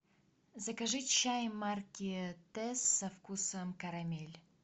закажи чай марки тесс со вкусом карамель